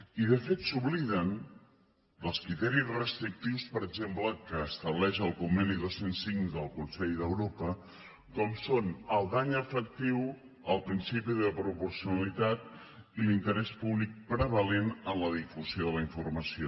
i de fet s’obliden dels criteris restrictius per exemple que estableix el conveni dos cents i cinc del consell d’europa com són el dany efectiu el principi de proporcionalitat i l’interès públic prevalent en la difusió de la informació